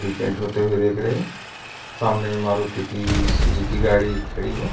Repaint होते हुए देख रहे हैं | सामने मारुती की सुजुकी गाड़ी खड़ी है।